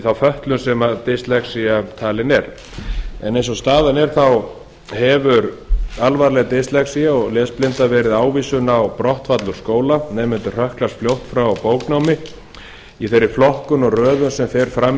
þá fötlun sem dyslexía er talin eins og staðan er hefur alvarleg dyslexía og lesblinda verið ávísun á brottfall úr skóla nemendur hrökklast fljótt frá bóknámi í þeirri flokkun og röðun sem fer fram